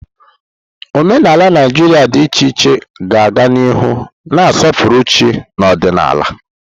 Omenala Naijiria dị iche iche ga-aga n'ihu na-asọpụrụ chi na ọdịnala.